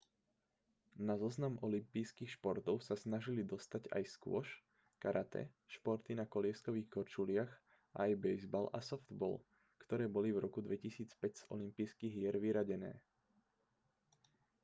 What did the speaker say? na zoznam olympijských športov sa snažili dostať aj squash karate športy na kolieskových korčuliach a aj bejzbal a softball ktoré boli v roku 2005 z olympijských hier vyradené